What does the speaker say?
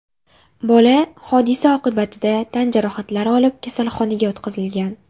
Bola hodisa oqibatida tan jarohatlari olib, kasalxonaga yotqizilgan.